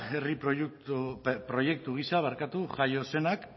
herri proiektu gisa jaio zenak